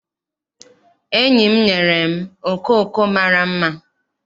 Enyi m nyere m okooko mara mma.